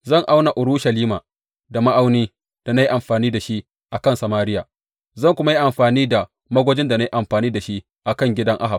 Zan auna Urushalima da ma’aunin da na yi amfani da shi a kan Samariya, zan kuma yi amfani da magwajin da na yi amfani da shi a kan gidan Ahab.